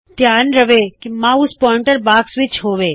ਧਿਆਨ ਰੱਖੋ mouse pointer box ਵਿੱਚ ਹੋਵੇ